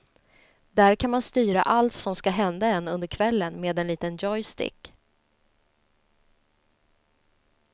Där kan man styra allt som ska hända en under kvällen med en liten joystick.